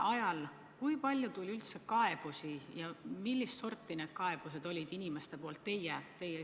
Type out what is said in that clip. Aga kui palju teile inimestelt sel ajal kaebusi tuli ja millist sorti need kaebused olid?